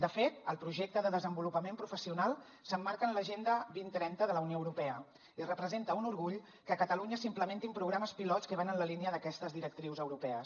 de fet el projecte de desenvolupament professional s’emmarca en l’agenda dos mil trenta de la unió europea i representa un orgull que a catalunya s’implementin programes pilots que van en la línia d’aquestes directrius europees